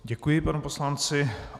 Děkuji panu poslanci.